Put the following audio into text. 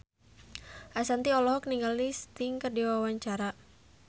Ashanti olohok ningali Sting keur diwawancara